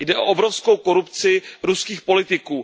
Jde o obrovskou korupci ruských politiků.